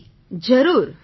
જી જરૂર